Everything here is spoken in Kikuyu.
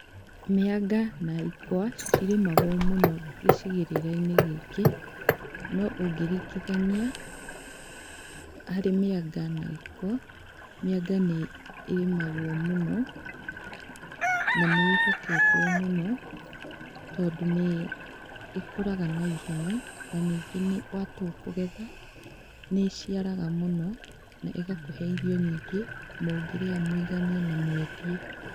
Mĩanga na ikwa citirĩmagwo mũno gĩcigĩrĩra-inĩ gĩkĩ. No ũngĩringithania harĩ mĩanga na ikwa, mĩanga nĩ ĩrĩmagwo mũno, nanĩĩhoketwo mũno tondũ nĩĩkũraga na ihenya na nyingĩ watua kũgetha nĩĩciaraga na mũno na ĩgakũhe irio nyingĩ mũngĩrĩa mũiganie na mwendie.